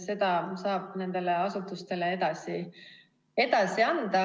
Selle saab asutustele edasi anda.